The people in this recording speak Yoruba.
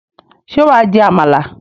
Ṣé wà á jẹ àmàlà?